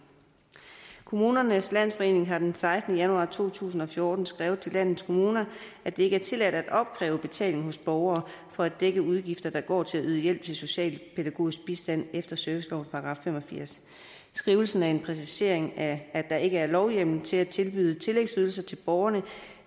kommunernes landsforening har den sekstende januar to tusind og fjorten skrevet til landets kommuner at det ikke er tilladt at opkræve betaling hos borgere for at dække udgifter der går til at yde hjælp til socialpædagogisk bistand efter servicelovens § fem og firs skrivelsen er en præcisering af at der ikke er lovhjemmel til at tilbyde tillægsydelser til borgerne